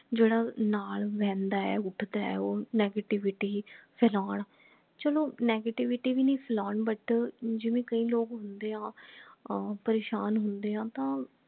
ਜੇਡਾ ਨਾਲ ਬਹਿੰਦਾ ਹੈ ਉੱਠਦਾ ਹੈ ਉਹ negativity ਫਲੋਨ ਚਲੋ negativity ਭੀ ਨਹੀਂ ਫਲੋਨ but ਜਿਵੇਂ ਕਈ ਲੋਗ ਹੁੰਦੇ ਹਾਂ ਅਹ ਪਰੇਸ਼ਾਨ ਹੁੰਦੇ ਹਾ ਤਾਂ